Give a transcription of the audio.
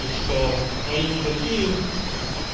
и что они не такие